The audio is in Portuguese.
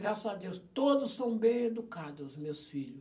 Graças a Deus, todos são bem educado, os meus filho.